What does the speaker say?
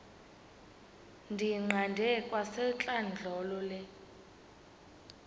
ndiyiqande kwasentlandlolo le